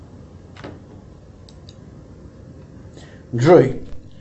джой